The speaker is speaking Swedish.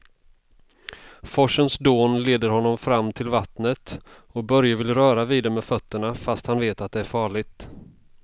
Forsens dån leder honom fram till vattnet och Börje vill röra vid det med fötterna, fast han vet att det är farligt.